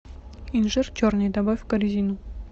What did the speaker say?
инжир черный добавь в корзину